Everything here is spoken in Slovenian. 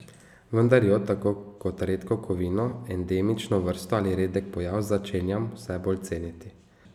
Vendar jo, tako kot redko kovino, endemično vrsto ali redek pojav, začenjam vse bolj ceniti.